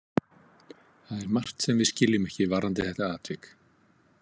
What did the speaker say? Það er margt sem við skiljum ekki varðandi þetta atvik.